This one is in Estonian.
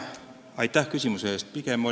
Aitäh küsimuse eest!